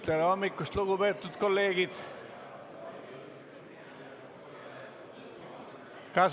Tere hommikust, lugupeetud kolleegid!